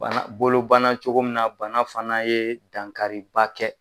Bana bolobana cogo min na bana fana ye dankariba kɛ